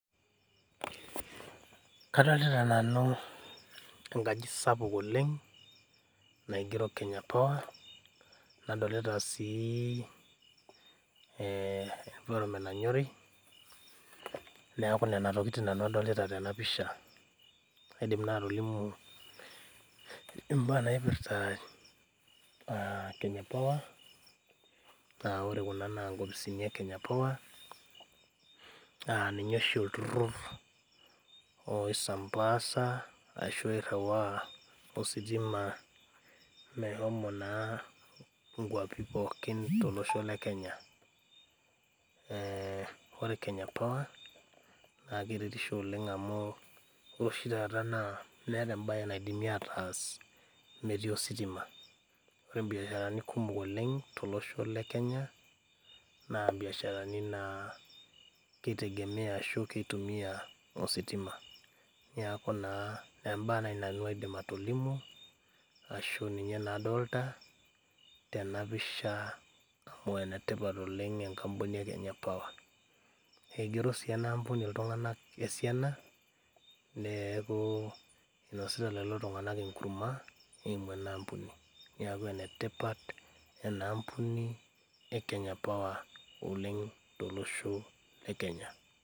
Kadolta nanu enkaji sapuk oleng naigero kenya power nadolta si ewoi nanyori neaku nona tokitin nanu adolita taa tenapisha na kaidim atolimu mbaa naipirta kenya power ore kuna na nkopisini e naipirta kenya power na ninye olturur oiriwaa ositima meshomo na nkwapi pooki tolosho le Kenya ore naipirta kenya power na keretisbo oleng amu ore oshi taata meeta embae naidimi ataas meetai ositima tolosho le Kenya na irbiasharani na kitegemea ositima neaku na embae nanu aidim atolimu ashu ninye adolta tenapisha amu enetipat oleng enkampuni e naipirta kenya power igero si ltunganak enampuni esiana neaku inosita kulo tunganak enkurma eimu inaampuni neaku enetipat enaampuni e naipirta kenya power tolosho le Kenya.